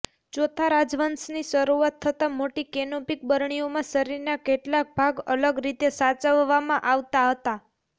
ચોથા રાજવંશની શરૂઆત થતાં મોટી કેનોપિક બરણીઓમાં શરીરના કેટલાંક ભાગ અલગ રીતે સાચવવામાં આવતાં હતા